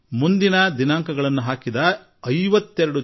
ಅವರು ನನಗೆ 52 post dated cheque ಕಳುಹಿಸಿದರು